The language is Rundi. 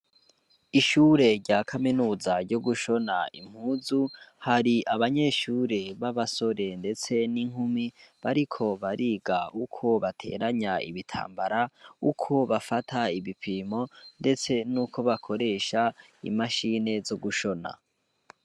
Ishure rya kaminuza ryo gushona impuzu hari abanyeshure b'abasore, ndetse n'inkumi bariko bariga uko bateranya ibitambara uko bafata ibipimo, ndetse n'uko bakoresha imashine zo gushona.